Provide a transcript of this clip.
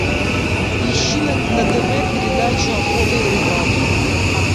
ищи на тв передачу охота и рыбалка